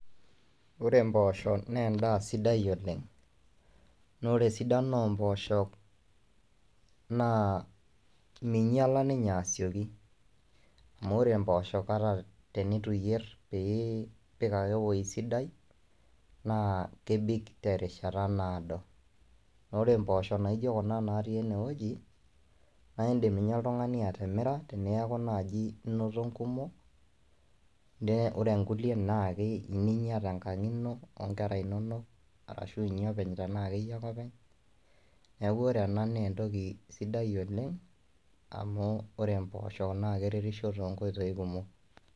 Ore ena naa impooshok , naa ore imposhok naa endaa sidai oleng. Naa ore esidano omposhok naa minyiala ninye asioki . Amu ore impooshok naa tenitu iyier pee ipik ake ewueji sidai naa kebik terishata naado . Naa ore imposhok naijo kuna natii ene wueji naa indim ninye oltungani atimira teniaku naji inoto nkumok , ore inkulie naa inya tenkang ino , onkera inonok ashu inya openy tenaa keyie ake openy , niaku ore ena naa entoki sidai oleng amu ore impoosho naa keretisho too nkoitoi kumok.